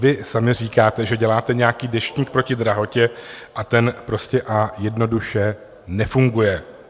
Vy sami říkáte, že děláte nějaký Deštník proti drahotě, a ten prostě a jednoduše nefunguje.